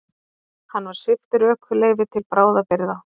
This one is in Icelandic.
Hann var sviptur ökuleyfi til bráðabirgða